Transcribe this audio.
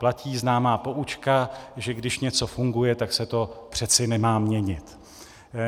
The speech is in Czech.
Platí známá poučka, že když něco funguje, tak se to přeci nemá měnit.